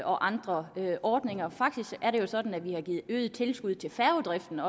og andre ordninger faktisk er det jo sådan at vi også har givet øget tilskud til færgedriften